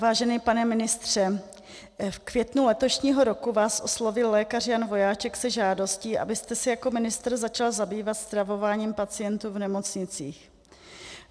Vážený pane ministře, v květnu letošního roku vás oslovil lékař Jan Vojáček se žádostí, abyste se jako ministr začal zabývat stravováním pacientů v nemocnicích.